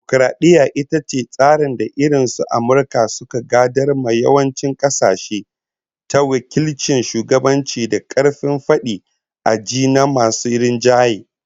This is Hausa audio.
Dimokaradiyya ita ce tsarin da irin su Amurka suka gadar ma yawancin kasashe, ta wakilcin shugabanci da karfin fadi a ji na masu rinjaye